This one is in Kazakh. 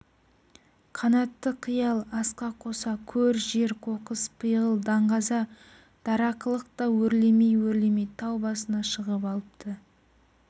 қанатты қиял асқақ қоса көр-жер қоқыс пиғыл даңғаза дарақылық та өрмелей-өрмелей тау басына шығып алыпты